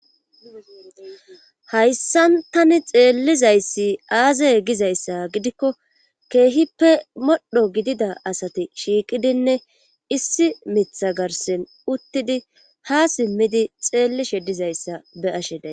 hayssan tani xeellizayssi aazeye gizayssa gidikko keehippe modho gidida asati shiiqidinne issi mitha garsen uttidi ha simmidi xeellishe dizayssa be asheda